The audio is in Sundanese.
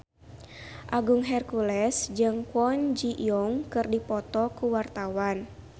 Agung Hercules jeung Kwon Ji Yong keur dipoto ku wartawan